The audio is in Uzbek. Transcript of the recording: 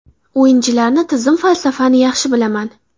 O‘yinchilarni, tizim, falsafani yaxshi bilaman.